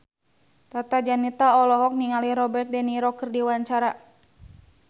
Tata Janeta olohok ningali Robert de Niro keur diwawancara